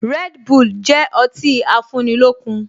Red bull jẹ ọtí afúnilókun